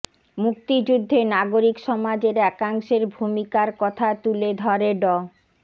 মুক্তিযুদ্ধে নাগরিক সমাজের একাংশের ভূমিকার কথা তুলে ধরে ড